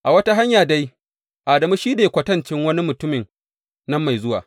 A wata hanya dai Adamu shi ne kwatancin wani mutumin nan mai zuwa.